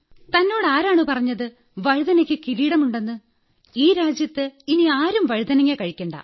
തന്നോടാരാണ് പറഞ്ഞത് വഴുതനയ്ക്ക് കിരീടമുണ്ടെന്ന് ഈ രാജ്യത്ത് ഇനി ആരും വഴുതനങ്ങ കഴിക്കേണ്ട